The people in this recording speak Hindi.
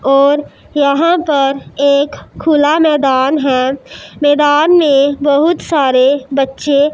और यहां पर एक खुला मैदान है मैदान में बहुत सारे बच्चे --